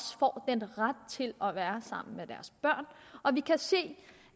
til at være sammen med deres børn og vi kan se